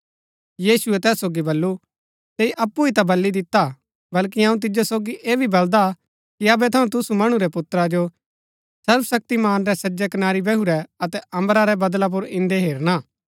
यीशुऐ तैस सोगी बल्लू तैंई अप्पु ही ता बली दिता हा बल्कि अऊँ तिजो सोगी ऐह भी बलदा कि अबै थऊँ तुसु मणु रै पुत्रा जो सर्वशक्तिमान रै सज्जै कनारी बैहुरै अतै अम्बरा रै बदळा पुर इन्दै हेरना